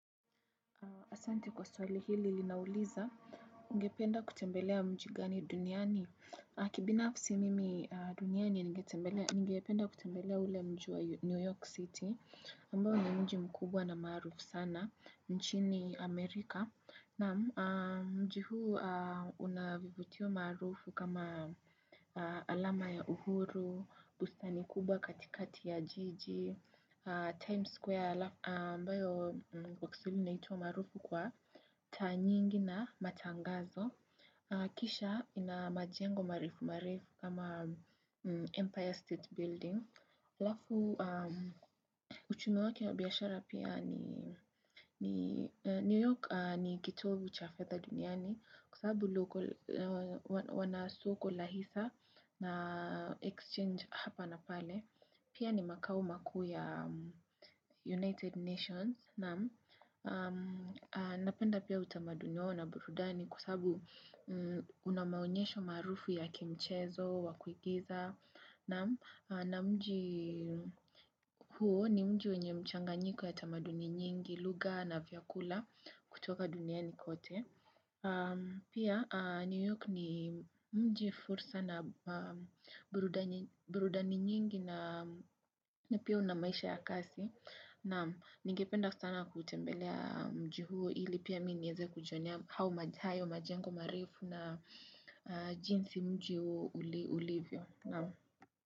Asante kwa swali hili linauliza, ungependa kutembelea mji gani duniani. Kibinafsi mimi duniani, ningependa kutembelea ule mji wa New York City, ambao ni mji mkubwa na maarufu sana, nchini Amerika. Na mji huu unavivutio maarufu kama alama ya uhuru, bustani kubwa katikati ya jiji, Times Square, ambayo kwa kiswahili inaitwa maarufu kwa taa nyingi na matangazo. Kisha ina majengo marefu marefu kama Empire State Building. Alafu, uchumi wake wa biashara pia ni ni New York ni kitovu cha fedha duniani. Kwa sababu local wanasoko la hisa na exchange hapa na pale Pia ni makao makuu ya United Nations Napenda pia utamaduni wao na burudani kwa sababu unamaonyesho maarufu ya kimchezo, wa kuigiza na mji huo ni mji wenye mchanganyiko ya utamaduni nyingi, lugha na vyakula kutoka duniani kote Pia New York ni mji fursa na burudani nyingi na pia unamaisha ya kasi Naam ningependa sana kuitembelea mji huo ili pia mimi niweze kujionea hayo majengo marefu na jinsi mji huo ulivyo.